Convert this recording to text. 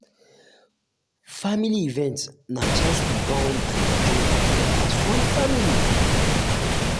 family event na chance to bond and enjoy together as one um family.